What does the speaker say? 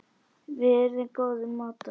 Við urðum góðir mátar.